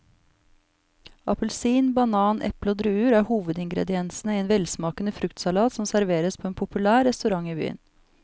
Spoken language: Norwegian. Appelsin, banan, eple og druer er hovedingredienser i en velsmakende fruktsalat som serveres på en populær restaurant i byen.